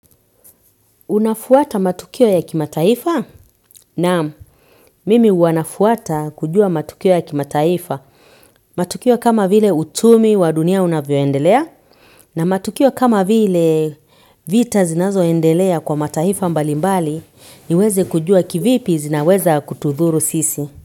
Unafuata matukio ya kimataifa naam mimi wanafuata kujua matukio ya kimataifa. Matukio kama vile uchumi wa dunia unavyoendelea na matukio kama vile vita zinazoendelea kwa mataifa mbalimbali niweze kujua kivipi zinaweza kutudhuru sisi.